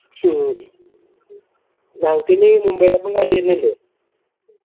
ഹും ഞങ്ങക്കിനി മുംബൈടപ്പം കളിവരണില്ലെ